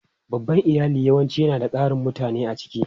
Babban iyali yawanci yana da ƙarin mutane a ciki.